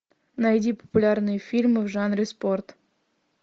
найди популярные фильмы в жанре спорт